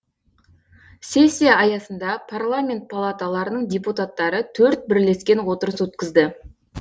сессия аясында парламент палаталарының депутаттары төрт бірлескен отырыс өткізді